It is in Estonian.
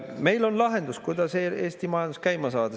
Meil on lahendus, kuidas Eesti majandust käima saada.